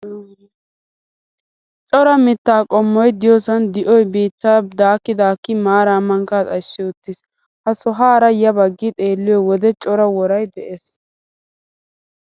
Cora mittaa qommoyi diyoosan di'oyi biittaa daakki daakki maaraa mankkaa xayissi uttis. Ha sohaara ya baggi xeelliyoo wode cora worayi des.